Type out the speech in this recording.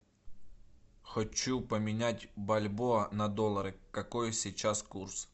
хочу поменять бальбоа на доллары какой сейчас курс